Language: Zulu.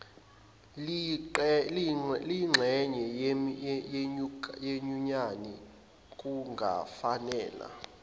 liyingxenye yenyunyani kungafanela